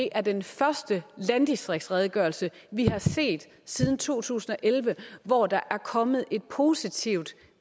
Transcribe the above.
er den første landdistriktsredegørelse vi har set siden to tusind og elleve hvor der er kommet et positivt